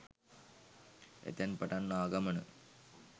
එතැන් පටන් ආ ගමන